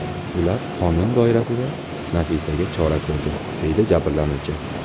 Ular qonun doirasida Nafisaga chora ko‘rdi”, – deydi jabrlanuvchi.